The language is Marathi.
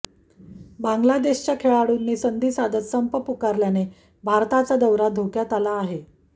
बांग्लादेशाच्या खेळाडूंनी संधी साधत संप पुकारल्याने भारताचा दौरा धोक्यात आला आहे